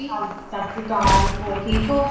ਸਤਿ ਸ਼੍ਰੀ ਅਕਾਲ ਹੋਰ ਠੀਕ ਹੋ